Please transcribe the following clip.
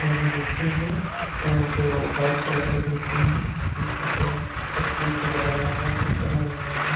और नीचे में जो व्हाइट कलर का मशीन है जिसके पैर चक्के से लगाया हुआ है चक्का लगाया हुआ है।